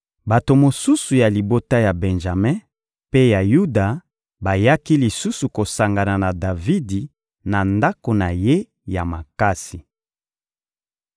Bato mosusu ya libota ya Benjame mpe ya Yuda bayaki lisusu kosangana na Davidi na ndako na ye ya makasi.